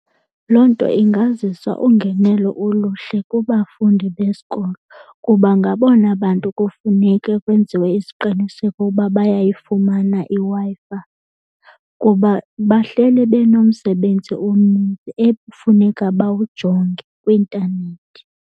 Loo nto ingazisa ungenelo oluhle kubafundi besikolo kuba ngabona bantu kufuneke kwenziwe isiqiniseko ukuba bayayifumana iWi-Fi kuba bahleli benomsebenzi omninzi ekufuneka bawujonge kwi-intanethi.